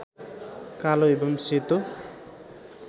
कालो एवं सेतो